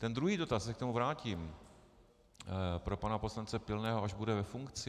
Ten druhý dotaz, k tomu se vrátím, pro pana poslance Pilného, až bude ve funkci.